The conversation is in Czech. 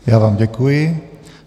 Já vám děkuji.